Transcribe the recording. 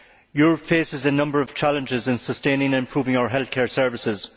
Europe faces a number of challenges in sustaining and improving our healthcare services.